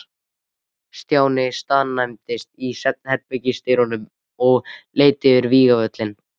Stjáni staðnæmdist í svefnherbergisdyrunum og leit yfir vígvöllinn.